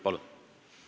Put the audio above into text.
Palun!